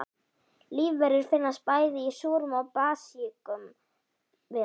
Lífverur finnast bæði í súrum og basískum hverum.